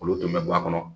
Olu tun bɛ bɔ a kɔnɔ